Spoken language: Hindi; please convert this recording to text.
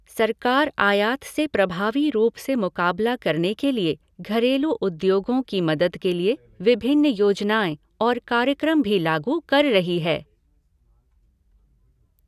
सरकार आयात से प्रभावी रूप से मुकाबला करने के लिए घरेलू उद्योगो की मदद के लिए विभिन्न योजनाएं और कार्यक्रम भी लागू कर रही है।